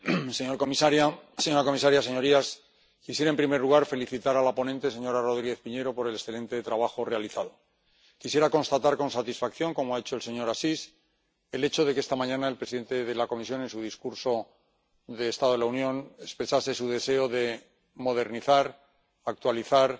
Señor presidente, señora comisaria, señorías, quisiera, en primer lugar, felicitar a la ponente, señora Rodríguez Piñero, por el excelente trabajo realizado. Quisiera constatar con satisfacción, como ha hecho el señor Assis, el hecho de que esta mañana el presidente de la Comisión, en su discurso del estado de la Unión, expresase su deseo de modernizar, actualizar